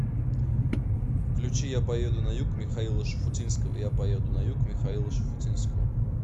включи я поеду на юг михаила шуфутинского я поеду на юг михаила шафутинского